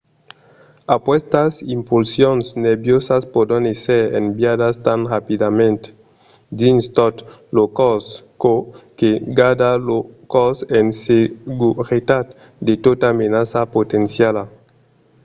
aquestas impulsions nerviosas pòdon èsser enviadas tan rapidament dins tot lo còrs çò que garda lo còrs en seguretat de tota menaça potenciala